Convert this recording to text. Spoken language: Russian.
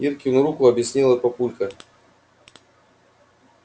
иркину руку объяснила папулька